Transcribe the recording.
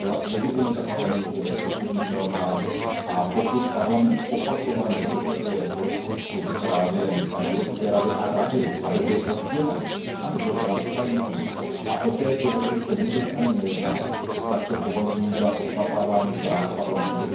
Legitimita Parlamentu je nezpochybnitelná, a pokud Parlament opakovaně požaduje k rozpočtu právě Evropské Rady a Rady, aby byl oddělen, aby byl transparentní a o této věci se vůbec ani nejedná, tak to považuji za pošlapávání práv Parlamentu.